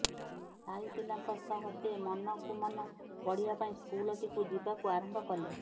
ସାହି ପିଲାଙ୍କ ସହ ସେ ମନକୁମନ ପଢ଼ିବା ପାଇଁ ସ୍କୁଲଟିକୁ ଯିବାକୁ ଆରମ୍ଭ କଲେ